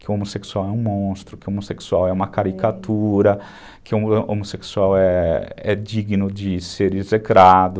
Que o homossexual é um monstro, que o homossexual é uma caricatura, que o homossexual é digno de ser execrado.